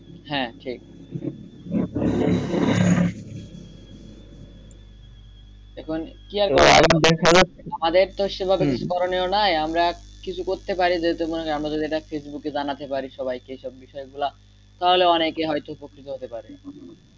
কি আর করা আমাদের তো সেভাবে করণীয় নাই আমরা কিছু করতে পারি যেহেতু আমরা এটা ফেসবুকে জানাতে পারি সবাইকে সব বিষয়ে সব বিষয় গুলা তাহলে হয়তো সবাই উপকৃত হতে পারে।